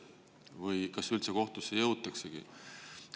Või kas üldse kohtusse jõutaksegi?